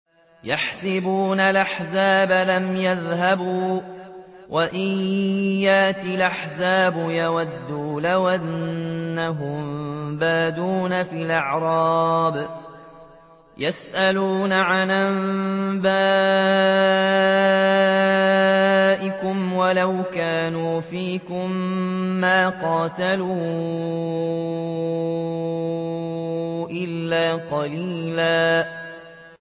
يَحْسَبُونَ الْأَحْزَابَ لَمْ يَذْهَبُوا ۖ وَإِن يَأْتِ الْأَحْزَابُ يَوَدُّوا لَوْ أَنَّهُم بَادُونَ فِي الْأَعْرَابِ يَسْأَلُونَ عَنْ أَنبَائِكُمْ ۖ وَلَوْ كَانُوا فِيكُم مَّا قَاتَلُوا إِلَّا قَلِيلًا